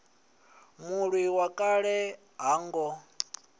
mulwi wa kale ha ngo